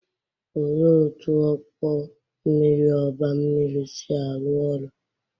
Olee otú ọkpọ mmiri oba mmiri si arụ ọrụ?